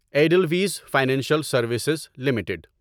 Edelweiss financial services limited